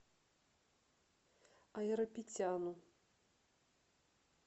айрапетяну